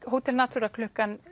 hótel Natura klukkan